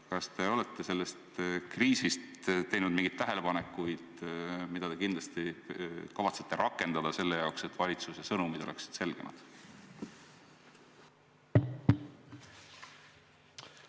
Kas te olete selle kriisi ajal teinud mingeid tähelepanekuid, mida te kindlasti kavatsete arvestada selleks, et valitsuse sõnumid oleksid selgemad?